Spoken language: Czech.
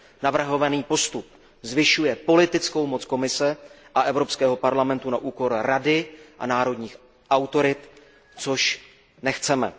Navrhovaný postup zvyšuje politickou moc Komise a Evropského parlamentu na úkor Rady a národních autorit, což nechceme.